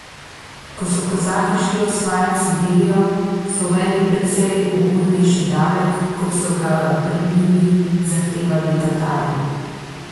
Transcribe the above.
Ko so kozaki šli osvajat Sibirijo, so uvedli precej ugodnejši davek, kot so ga pred njimi zahtevali Tatari.